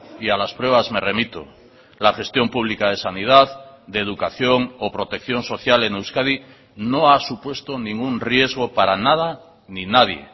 y a las pruebas me remito la gestión pública de sanidad de educación o protección social en euskadi no ha supuesto ningún riesgo para nada ni nadie